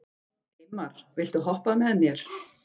Eymar, viltu hoppa með mér?